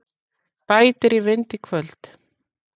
Bætir í vind í kvöld